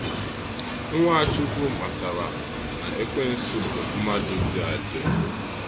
Ǹwáchukwu mátara na Ekwensu bụ mmadụ dị adị.